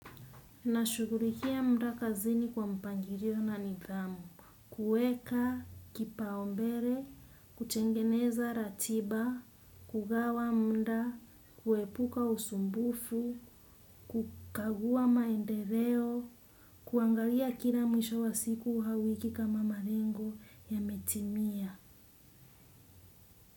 Nashugulikia mda kazini kwa mpangirio na nidhamu. Kueka, kipaombere, kutengeneza ratiba, kugawa mda, kuepuka usumbufu, kukagua maendereo, kuangalia kila mwisho wa siku hauwiki kama marengo yametimia.